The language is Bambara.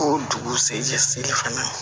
Ko dugu sejɛ sen fɛnɛ ma